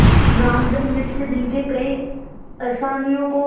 रामधन मिश्र जिनके कई असामियों को